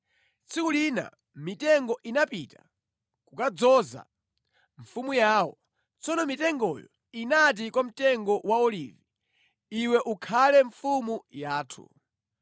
Tsiku lina mitengo inapita kukadzoza mfumu yawo. Tsono mitengoyo inati kwa mtengo wa olivi, ‘Iwe ukhale mfumu yathu.’ ”